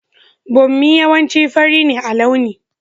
Bommi yawanci fari ne a launi.